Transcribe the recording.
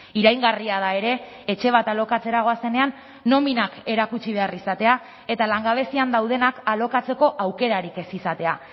iraingarria da ere etxe bat alokatzera goazenean nominak erakutsi behar izatea eta langabezian daudenak alokatzeko aukerarik ez izatea